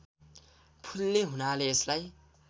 फुल्ने हुनाले यसलाई